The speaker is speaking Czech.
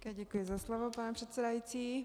Děkuji za slovo, pane předsedající.